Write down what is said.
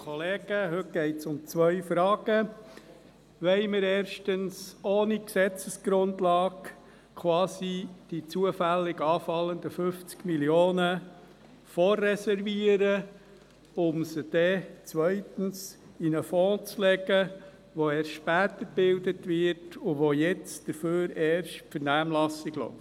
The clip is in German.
Wollen wir erstens ohne eine Gesetzesgrundlage quasi die zufällig anfallenden 50 Mio. Franken vorreservieren, um sie dann zweitens in einen Fonds einzulegen, der erst später gebildet wird, und zu dem erst jetzt die Vernehmlassung läuft?